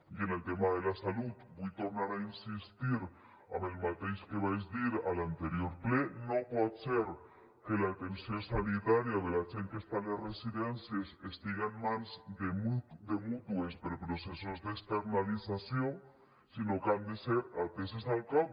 i en el tema de la salut vull tornar a insistir en el mateix que vaig dir a l’anterior ple no pot ser que l’atenció sanitària de la gent que està a les residències estiga en mans de mútues per processos d’externalització sinó que han de ser ateses al cap